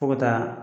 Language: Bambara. Fo ka taa